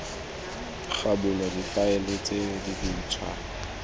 ga bulwa difaele tse dintšhwa